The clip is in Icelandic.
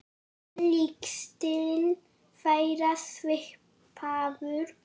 Er leikstíll þeirra svipaður?